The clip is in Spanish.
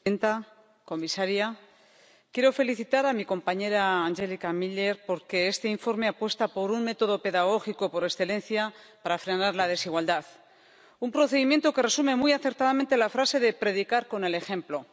Señora presidenta, señora comisaria, quiero felicitar a mi compañera Angelika Mlinar, porque este informe apuesta por un método pedagógico por excelencia para frenar la desigualdad un procedimiento que resume muy acertadamente la frase de predicar con el ejemplo.